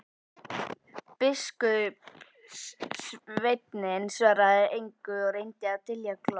Biskupssveinninn svaraði engu og reyndi að dylja glott.